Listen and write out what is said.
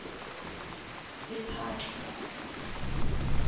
lephatla